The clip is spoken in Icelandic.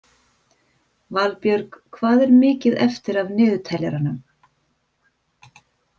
Valbjörg, hvað er mikið eftir af niðurteljaranum?